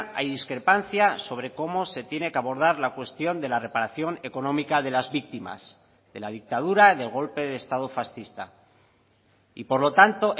hay discrepancia sobre cómo se tiene que abordar la cuestión de la reparación económica de las víctimas de la dictadura del golpe de estado fascista y por lo tanto